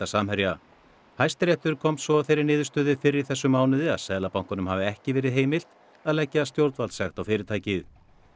Samherja Hæstiréttur komst svo að þeirri niðurstöðu fyrr í þessum mánuði að Seðlabankanum hafi ekki verið heimilt að leggja stjórnvaldssekt á fyrirtækið